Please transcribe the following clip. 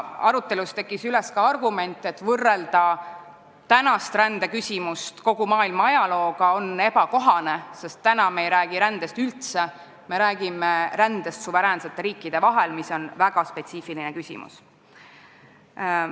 Arutelus tõusis üles ka argument, et on ebakohane võrrelda praegust rändeküsimust kogu maailma ajalooga, sest me ei räägi rändest üldse, vaid me räägime rändest suveräänsete riikide vahel, mis on väga spetsiifiline küsimus.